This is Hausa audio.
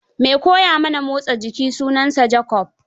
Mai koya mana motsa jiki sunansa Jacob.